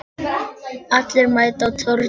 Allir mæta á Torginu